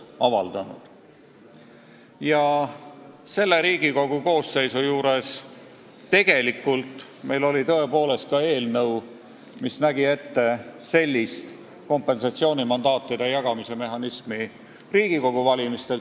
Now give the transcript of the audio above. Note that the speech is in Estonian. Praeguse koosseisu ajal oleme esitanud ka eelnõu, mis nägi ette kompensatsioonimandaatide jagamise mehhanismi Riigikogu valimistel.